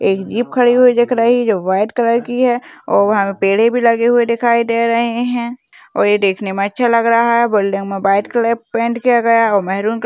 एक जीप खडी हुई दिखाई दे रही है व्हाईट कलर की है और यहा पेड़ भी लगे हुए दिखाई दे रहे है और देखने मे अच्छा लग रहा है मे व्हाईट कलर पेंट किया गया है और महरून--